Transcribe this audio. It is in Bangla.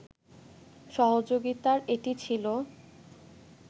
সহযোগিতার এটি ছিল